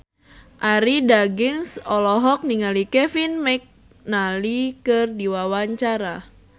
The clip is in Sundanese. Arie Daginks olohok ningali Kevin McNally keur diwawancara